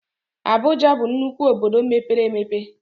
Abụja bụ nnukwu obodo mepere emepe